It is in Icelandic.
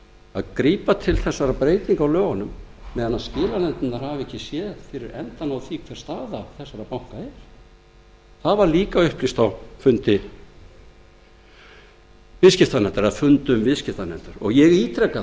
að grípa til þessara breytinga á lögunum meðan skilanefndirnar hafa ekki séð fyrir endann á því hver staða þessara banka er það var líka upplýst á fundum viðskiptanefndar og ég ítreka